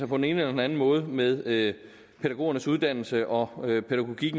på den ene eller den anden måde med pædagogernes uddannelse og